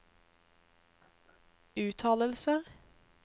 uttalelser